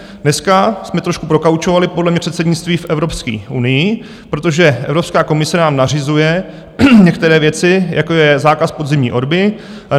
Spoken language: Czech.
Dneska jsme trošku prokaučovali podle mě předsednictví v Evropské unii, protože Evropská komise nám nařizuje některé věci, jako je zákaz podzimní orby.